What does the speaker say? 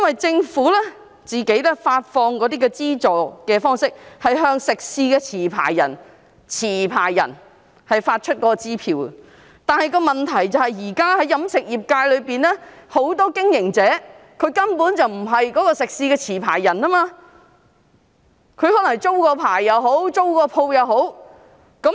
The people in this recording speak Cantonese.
政府發放資助的方式，是向食肆的持牌人發出支票，但問題是，現時在飲食業中，很多經營者根本並非食肆的持牌人，他們可能只是租了牌照或鋪位。